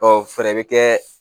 Ɔ fɛrɛ be kɛ